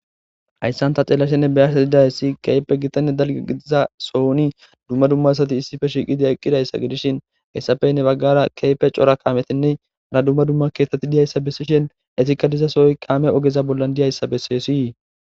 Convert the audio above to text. Hayssanta celashenne beyasa didayssi keype gitanne dalge gidiza sohoni dumma dummasati issife shiiqide eqqidayssa gidishin heyssafeyne baggara keepe cora kaametenne ara dumma dumma keettati diyayssa bessishen esikka dizasooy kaame ogeza bollan diyayssa bessesii.